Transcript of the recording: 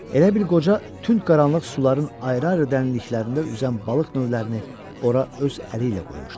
Elə bil qoca tünd qaranlıq suların ayrı-ayrı dərinliklərində üzən balıq növlərini ora öz əli ilə qoymuşdu.